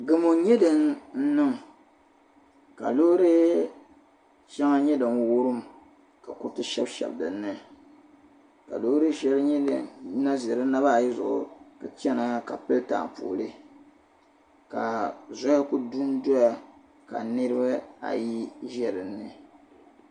Gamɔ n nyɛ din niŋ ka loori shɛŋa nyɛ din wurim ka kuriti shɛbi shɛbi din na nyɛ din ʒi di nabaa ayi zuɣu ka chana ka pili taapooli ku dun doya ka niribi ayi ʒɛ dinni